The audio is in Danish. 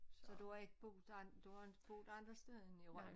Så du har ikke boet andre du har inte boet andre steder end i Rønne?